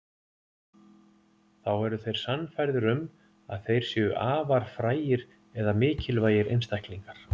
Þá eru þeir sannfærðir um að þeir séu afar frægir eða mikilvægir einstaklingar.